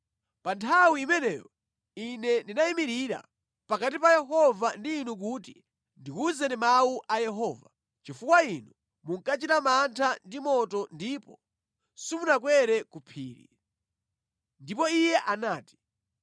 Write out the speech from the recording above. (Pa nthawi imeneyo ine ndinayimirira pakati pa Yehova ndi inu kuti ndikuwuzeni mawu a Yehova, chifukwa inu munkachita mantha ndi moto ndipo simunakwere ku phiri). Ndipo Iye anati: